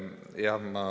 Aitäh!